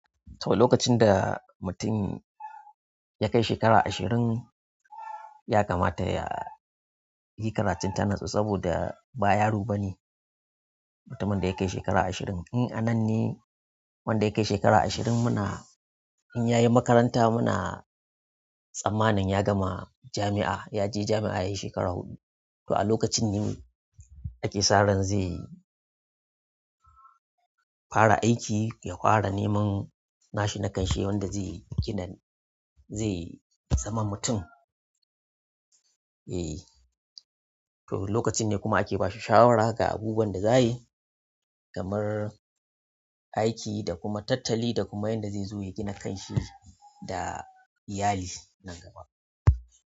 To, lokacin da mutum ya kai shekara ashirin ya kamata ya yi karatun tanatsu saboda ba yaro ba ne mutumin da ya kai shekara ashirin. In anan ne wanda ya kai shekara ashirin muna in ya yi makaranta muna tsammanin ya gama jami'a, yaje jami'a yayi shekara huɗu. To a lokacin ne ake sa ran zai fara aiki, ya fara neman nashi na kanshi wanda zai gina, zai zama mutum. E, to lokacin ne kuma ake ba shi shawara ga abubuwan da zayayi kamar aiki da kuma tattali da kuma yanda zai zo ya gina kanshi da iyali nan gaba.